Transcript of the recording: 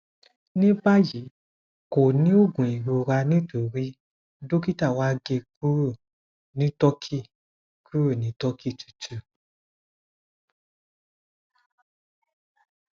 ní báyìí kò ní òògùn ìrora nítorí dókítà wa gé e kúrò ní turkey kúrò ní turkey tútù